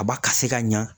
A b'a ka se ka ɲɛ